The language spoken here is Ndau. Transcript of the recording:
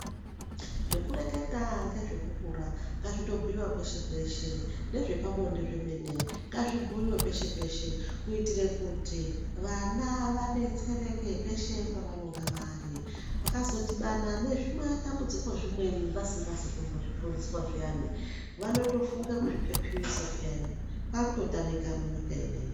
Zveku reketa ngezve kukura nga zvito bhuyiwa kweshe kweshe nezve pabonde zvemene ngazvi bhuyiwe peshe peshe kuitire kuti vana vadetsereke peshe pa vanonga vari vakazo dhibana nezvi matambudziko zvimweni vasingazi kumbo zvifundiswa zviyani vanoto funge kuzvi pepuyisa peyani kwakuto tamika mu nyika ineyi.